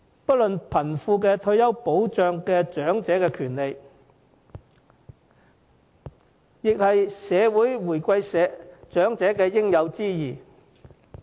不論貧富，退休保障是長者的權利，亦是社會回饋長者的應有之義。